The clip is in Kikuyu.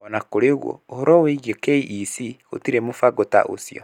O na kũrĩ ũguo, ũhoro-inĩ wĩgiĩ KEC gũtirĩ mũbango ta ũcio.